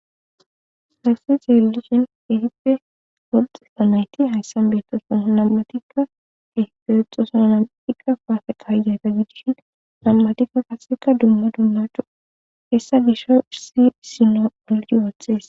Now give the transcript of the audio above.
salaqisi xeelishin ehipe wolxifa nayti hayssan beettoson nam7atikka ehifeexosona namtikka paafe qahzayta gidishin nam7atikka qaseka dumma dumma cu hessa gisho issi sino oldi wothxhees